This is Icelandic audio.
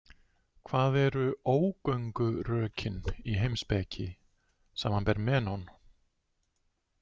Hvað eru ógöngurökin í heimspeki, sbr Menón?